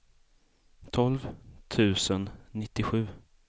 tolv tusen nittiosju